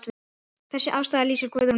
Þessi afstaða lýsir Guðrúnu vel.